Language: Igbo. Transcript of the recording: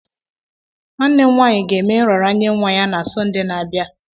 Nwanne m nwaanyị ga-eme nraranye nwa ya na Sọnde na-abịa.